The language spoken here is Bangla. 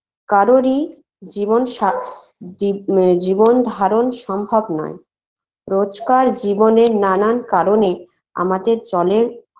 কারোরই জীবন সা জীব ম জীবন ধারণ সম্ভব নয় রোজকার জীবনে নানান কারণে আমাদের জলের